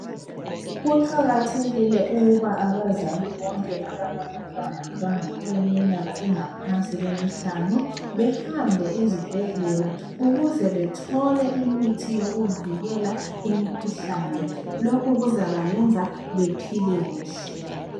kuqakathekile ukuba abazali bonke abalabantwana abaleminyaka engaphansi kwemihlanu behambe ezibhedlela ukuze bethole imithi yokuvikela imikhuhlane lokhu kuzabayenza bephile kuhle